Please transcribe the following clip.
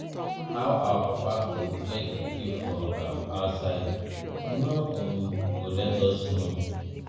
how our papa go get pikin for um outside he no um go let us know.